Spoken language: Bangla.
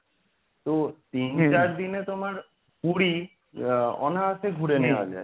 তো তিন চার দিনে তোমার পুরী আহ অনায়াসে ঘুরে নেওয়া যায়।